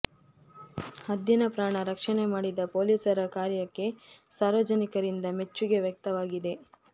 ಹದ್ದಿನ ಪ್ರಾಣ ರಕ್ಷಣೆ ಮಾಡಿದ ಪೋಲೀಸರ ಕಾರ್ಯಕ್ಕೆ ಸಾರ್ವಜನಿಕರಿಂದ ಮೆಚ್ಚುಗೆ ವ್ಯಕ್ತವಾಗಿದೆ